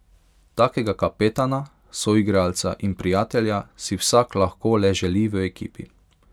Takega kapetana, soigralca in prijatelja si vsak lahko le želi v ekipi.